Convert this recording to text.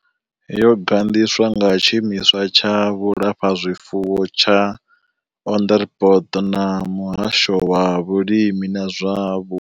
Yo gandiswa nga tshiimiswa tsha vhulafhazwifuwo tsha Onderstepoort na muhasho wa vhulimi na zwa.